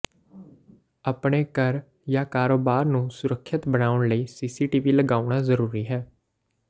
ਆਪਣੇ ਘਰ ਜਾਂ ਕਾਰੋਬਾਰ ਨੂੰ ਸੁਰੱਖਿਅਤ ਬਣਾਉਣ ਲਈ ਸੀਸੀਟੀਵੀ ਲਗਾਉਣਾ ਜ਼ਰੂਰੀ ਹੈ